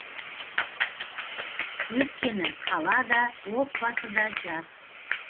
өйткені қала да отбасы да жас